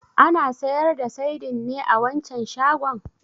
Ana sayar da saidin ne a wancan shagon?